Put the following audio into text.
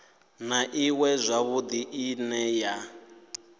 na iṅwe zwavhudi ine ya